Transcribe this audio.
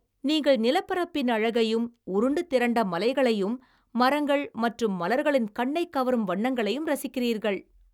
நீங்கள் நிலப்பரப்பின் அழகையும், உருண்டு திரண்ட மலைகளையும் மரங்கள் மற்றும் மலர்களின் கண்ணைக் கவரும் வண்ணங்களையும் ரசிக்கிறீர்கள்.